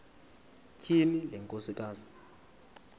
tyhini le nkosikazi